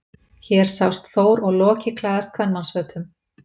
Hér sjást Þór og Loki klæðast kvenmannsfötum.